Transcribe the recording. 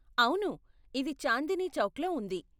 అవును, ఇది చాందనీ చౌక్ లో ఉంది.